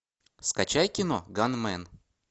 скачай кино ганмен